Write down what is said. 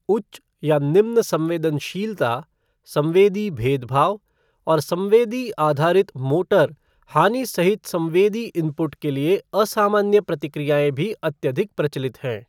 उच्च या निम्न संवेदनशीलता, संवेदी भेदभाव, और संवेदी आधारित मोटर हानि सहित संवेदी इनपुट के लिए असामान्य प्रतिक्रियाएँ भी अत्यधिक प्रचलित हैं।